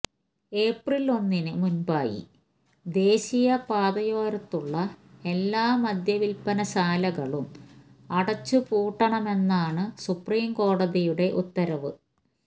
എപ്രില് ഒന്നിന് മുന്പായി ദേശീയപാതയോരത്തുള്ള എല്ലാ മദ്യവില്പനശാലകളും അടച്ചു പൂട്ടണമെന്നാണ് സുപ്രീംകോടതിയുടെ ഉത്തരവ്